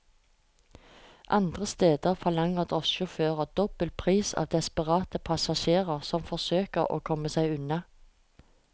Andre steder forlanger drosjesjåfører dobbel pris av desperate passasjerer som forsøker å komme seg unna.